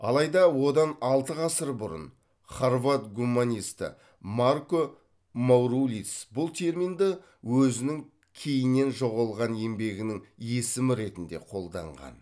алайда одан алты ғасыр бұрын хорват гуманисті марко маурулиц бұл терминді өзінің кейіннен жоғалған еңбегінің есімі ретінде қолданған